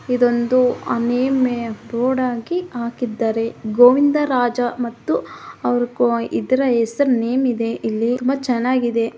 ಇದೊಂದು ಅನಿಮಿಯ ರೋಡಾಗಿ ಹಾಕಿದ್ದಾರೆ ಗೋವಿಂದರಾಜ ಮತ್ತು ಅವ್ರು ಕೋ ಇದರ ಹೆಸರು ನೇಮ್ ಇದೆ ಇಲ್ಲಿ ತುಂಬಾ ಚೆನ್ನಾಗಿದೆ.